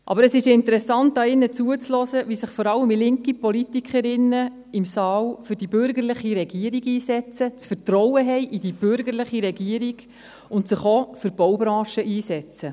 Aber es ist interessant, hier drinnen zuzuhören, wie sich vor allem linke Politikerinnen in diesem Saal für die bürgerliche Regierung einsetzen, Vertrauen in die bürgerliche Regierung haben und sich auch für die Baubranche einsetzen.